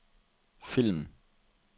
film